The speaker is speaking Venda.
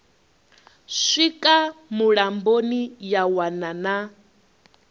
swika mulamboni ya wana na